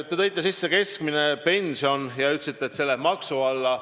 Te tõite sisse keskmise pensioni ja ütlesite, et see läheb maksu alla.